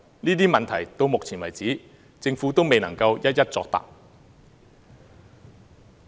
這些問題到目前為止，政府都未能一一作答。